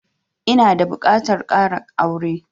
Ina da buƙatan ƙara aure